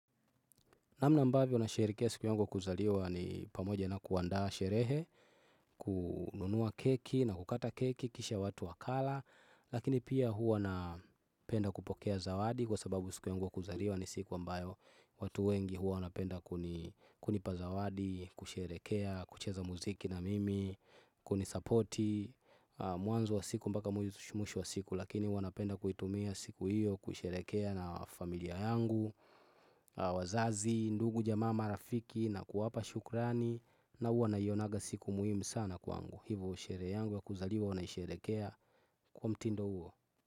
Namna ambavyo nasherehekea siku yangu kuzaliwa ni pamoja na kuandaa sherehe, kununua keki na kukata keki, kisha watu wakala, lakini pia hua na penda kupokea zawadi kwa sababu siku yangu ya kuzaliwa ni siku ambayo watu wengi huwa wanapenda kunipa zawadi, kusherehekea, kucheza muziki na mimi, kunisapoti, mwanzo wa siku mpaka mwisho wa siku lakini huwa napenda kuitumia siku hiyo, kusherehekea na familia yangu, wazazi, ndugu jamaa marafiki na kuwapa shukrani na huwa naionaga siku muhimu sana kwangu hivo sherehe yangu ya kuzaliwa huwa naisherehekea kwa mtindo huo.